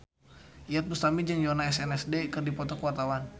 Iyeth Bustami jeung Yoona SNSD keur dipoto ku wartawan